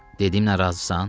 Dediyimə razısan?